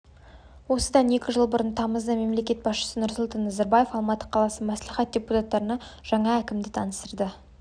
осыдан екі жыл бұрын тамызда мемлекет басшысы нұрсұлтан назарбаев алматы қаласы мәслихат депутаттарына жаңа әкімді таныстырды